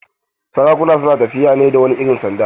Sarakuna su na tafiya ne da wani irin sanda.